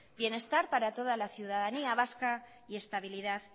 bienestar para toda la ciudadanía vasca y estabilidad